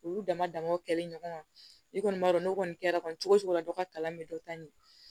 Olu dama damaw kɛli ɲɔgɔn kan i kɔni b'a dɔn n'o kɔni kɛra kɔni cogo cogo la dɔ ka kalan bɛ dɔ ta ɲɛ